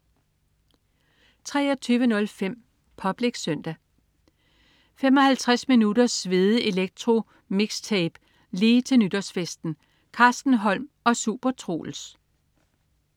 23.05 Public Søndag. 55 minutters svedig elektro-mikstape, lige til nytårsfesten! Carsten Holm og SuperTroels